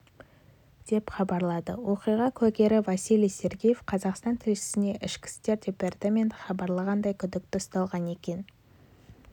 деп хабарлады оқиға куәгері василий сергеев қазақстан тілшісіне ішкі істер департаменті хабарлағандай күдікті ұсталған екен